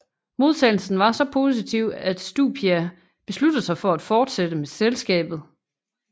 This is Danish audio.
Modtagelsen var så positiv at Stupia besluttede sig for at fortsætte med selskabet